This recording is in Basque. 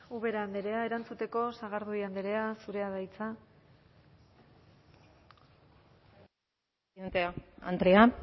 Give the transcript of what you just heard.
ubera andrea erantzuteko sagardui andrea zurea da hitza eskerrik asko presidente andrea